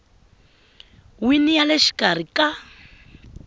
wini ya le xikarhi ka